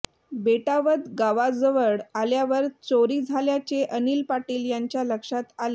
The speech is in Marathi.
बेटावद गावाजवळ आल्यावर चोरी झाल्याचे अनिल पाटील यांच्या लक्षात आले